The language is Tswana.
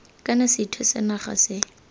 kana sethwe sa naga se